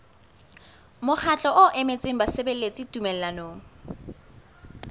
mokgatlo o emetseng basebeletsi tumellanong